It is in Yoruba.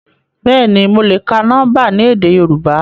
Bẹ́ẹ̀ni, mo le ka nọmba ni édé Yorùbá.